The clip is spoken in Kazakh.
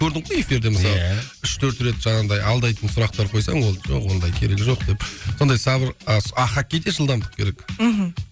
көрдің ғой эфирде мысалы иә үш төрт рет жаңағындай алдайтын сұрақтар қойсаң ол жоқ ондай керек жоқ деп сондай ал хоккейде жылдамдық керек мхм